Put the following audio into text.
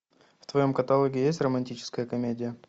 в твоем каталоге есть романтическая комедия